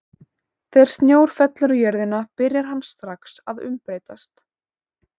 Þegar snjór fellur á jörðina byrjar hann strax að umbreytast.